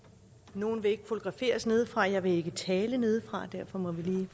nogle vil ikke fotograferes nedefra og jeg vil ikke tale nedefra og derfor må vi lige